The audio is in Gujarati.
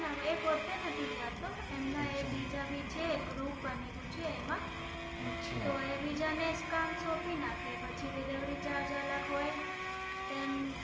ના એ પોતે નથી જતો એમના એ બીજા ભી છે ગ્રુપ બનેલું છે એમાં તો એ બેજ ને કામ સોંપી નાખે પછી જે ડીલેવરી ચાર્જ અલગ હોય તેમ